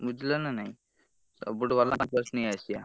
ବୁଝିଲ ନା ନାଇ ସବୁଠୁ ଭଲ OnePlus ନେଇଆସିବା।